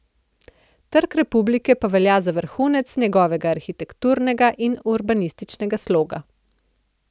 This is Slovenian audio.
Trg republike pa velja za vrhunec njegovega arhitekturnega in urbanističnega sloga.